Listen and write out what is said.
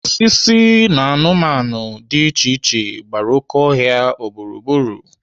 Osisi na anụmanụ dị iche iche gbara oké ọhịa gburugburu.